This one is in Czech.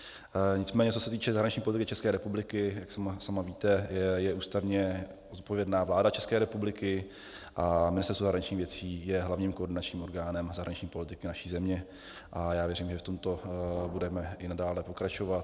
Nicméně co se týče zahraniční politiky České republiky, jak sama víte, je ústavně odpovědná vláda České republiky a Ministerstvo zahraničních věcí je hlavním koordinačním orgánem zahraniční politiky naší země a já věřím, že v tomto budeme i nadále pokračovat.